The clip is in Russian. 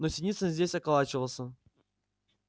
но синицын здесь околачивался